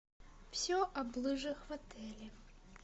все об лыжах в отеле